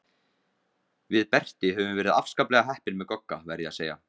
Við Berti höfum verið afskaplega heppin með Gogga, verð ég að segja.